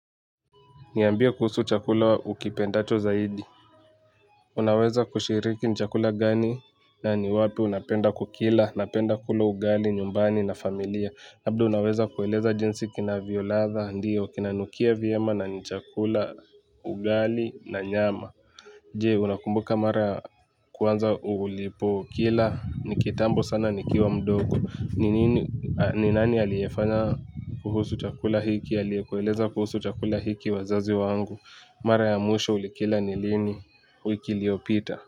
Niambie kuhusu chakula ukipendacho zaidi. Unaweza kushiriki chakula gani na ni wapi unapenda kukila napenda kula ugali nyumbani na familia labda unaweza kueleza jinsi kinavyo ladha ndiyo kinanukia vyema na ni chakula ugali na nyama. Jee unakumbuka mara kwanza ulipo kila ni kitambo sana nikiwa mdogo. Ni nani aliyefanya kuhusu chakula hiki aliye kueleza kuhusu chakula hiki wazazi wangu. Mara ya mwisho ulikila ni lini wiki liopita.